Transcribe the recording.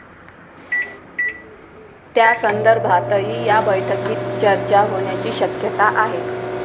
त्यासंदर्भातही या बैठकीत चर्चा होण्याची शक्यता आहे.